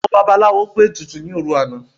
Àwọn babaláwo gbé ètùtù ní òrun àná